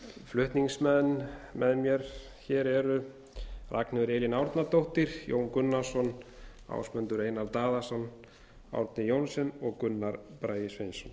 flutningsmenn með mér hér eru ragnheiður elín árnadóttir jón gunnarsson ásmundur einar daðason árni johnsen og gunnar bragi sveinsson